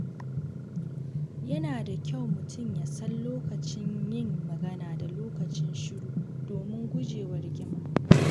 Yana da kyau mutum ya san lokacin yin magana da lokacin shiru domin guje wa rigima.